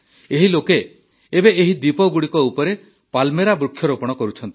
ଏହି ଲୋକେ ଏବେ ଏହି ଦ୍ୱୀପଗୁଡ଼ିକ ଉପରେ ପାଲ୍ମେରା ବୃକ୍ଷରୋପଣ କରୁଛନ୍ତି